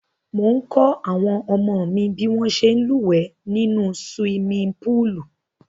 Mò ń kọ́ àwọn ọmọ mi bí wọ́n ṣe ń lúwẹ̀ẹ́ nínú siwimi póòlù